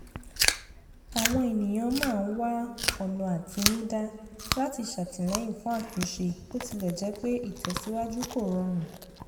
àwọn ènìyàn máa ń wá ọ̀nà àtinúdá láti ṣàtìlẹ́yìn fún àtúnṣe bó tilẹ̀ jẹ́ pé ìtẹ̀síwájú kò rọrùn